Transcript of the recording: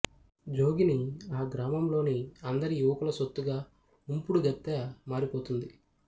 జోగిని ఆ గ్రామంలోని అందరి యువకుల సొత్తుగా ఉంపుడుగత్తె మారిపోతుంది